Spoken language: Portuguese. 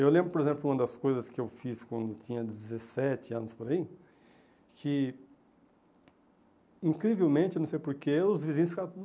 Eu lembro, por exemplo, uma das coisas que eu fiz quando tinha dezessete anos por aí, que incrivelmente, eu não sei porquê, os vizinhos ficaram